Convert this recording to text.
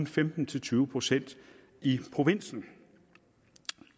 femten til tyve procent i provinsen